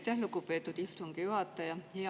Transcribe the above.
Aitäh, lugupeetud istungi juhataja!